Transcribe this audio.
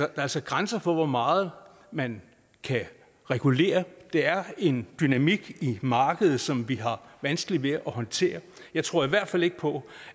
altså grænser for hvor meget man kan regulere der er en dynamik i markedet som vi har vanskeligt ved at håndtere jeg tror i hvert fald ikke på